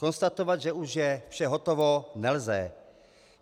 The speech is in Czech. Konstatovat, že už je vše hotovo, nelze.